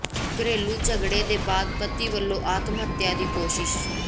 ਘਰੇਲੂ ਝਗੜੇ ਦੇ ਬਾਅਦ ਪਤੀ ਵਲੋਂ ਆਤਮ ਹੱਤਿਆ ਦੀ ਕੋਸ਼ਿਸ਼